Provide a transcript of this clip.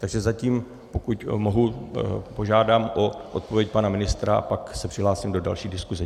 Takže zatím, pokud mohu, požádám o odpověď pana ministra a pak se přihlásím do další diskuse.